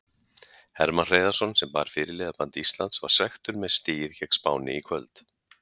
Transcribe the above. Hermann Hreiðarsson sem bar fyrirliðaband Íslands var svekktur með stigið gegn Spáni í kvöld.